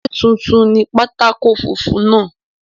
Ṣé tuntun ni pátákó funfun náà?